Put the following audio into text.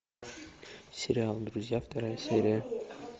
сериал друзья вторая серия